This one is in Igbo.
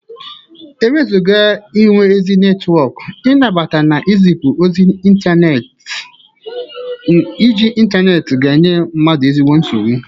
Ewezụga inwe ezi netwọk, ị nabata na ịzịpụ ozi n'intaneeti, iji intaneti ga-enye mmadu ezigbo nsogbụ.